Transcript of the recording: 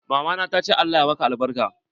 Mama na ta ce Allah ya maka albarka.